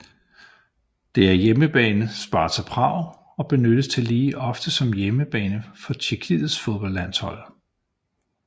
Det er hjemmebane Sparta Prag og benyttes tillige ofte som hjemmebane for tjekkiets fodboldlandshold